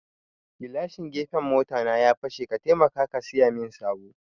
Gilashin gefen mota na ya fashe, ka taimaka ka siyamin sabo